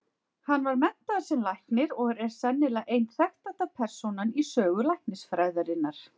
Hann var menntaður sem læknir og er sennilega ein þekktasta persónan í sögu læknisfræðinnar.